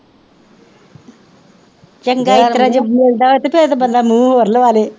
ਚੰਗਾ ਇਸ ਤਰ੍ਹਾਂ ਜੇ ਮਿਲਦਾ ਹੋਵੇ ਤਾਂ ਫੇਰ ਤਾਂ ਬੰਦਾ ਮੂੰਹ ਹੋਰ ਲਵਾ ਲਏ